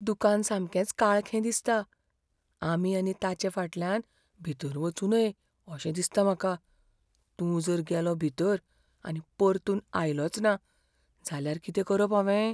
दुकान सामकेंच काळखें दिसता. आमी आनी ताचे फाटल्यान भितर वचूं नये अशें दिसता म्हाका. तूं जर गेलो भितर आनी परतून आयलोचना जाल्यार कितें करप हांवें?